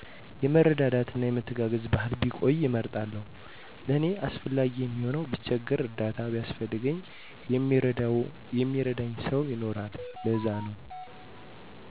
የመረዳዳት የመተጋገዝ ባህል ቢቆይ እመርጣለሁ ለኔ አስፈላጊ የሚሆነዉ ብቸገር እርዳታ ቢያስፈልገኝ የሚረዳኝ ሰዉ ይኖራል ለዛነዉ